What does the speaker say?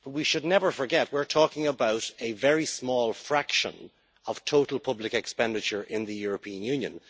But we should never forget that we are talking about a very small fraction of total public expenditure in the European Union.